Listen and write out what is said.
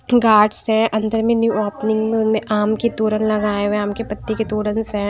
Guards हैं अंदर में न्यू ओपनिंग में उनमें आम के तोरन लगाए हुए हैंआम के पत्ते के तोरन्स हैं।